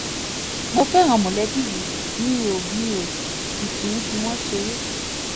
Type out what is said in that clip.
mo fẹ́ràn mọ̀lẹ́bí mi mi ò mi ò sì kì í fi wọ́n ṣeré